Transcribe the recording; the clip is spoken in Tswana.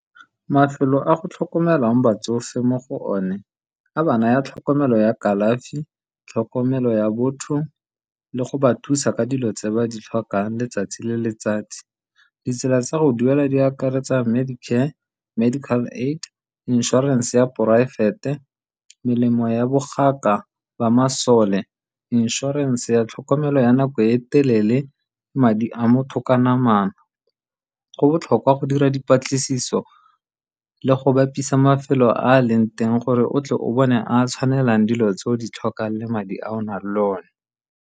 Mafelo a go tlhokomelang batsofe mo go one, a ba naya tlhokomelo ya kalafi tlhokomelo ya botho le go ba thusa ka dilo tse ba di tlhokang letsatsi le letsatsi. Ditsela tsa go duela di akaretsa Medicare, Medical Aid, inšorense ya poraefete, melemo ya boganka ba masole, inšorense ya tlhokomelo ya nako e telele, madi a motho ka namana. Go botlhokwa go dira dipatlisiso le go bapisa mafelo a a leng teng gore o tle o bone a a tshwanelang dilo tse o di tlhokang le madi a o nang le one.